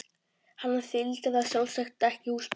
Hann þyldi það sjálfsagt ekki, húsbóndinn.